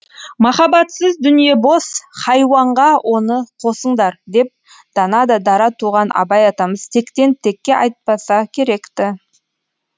махаббатсыз дүние бос хайуанға оны қосыңдар деп дана да дара туған абай атамыз тектен текке айтпаса керек ті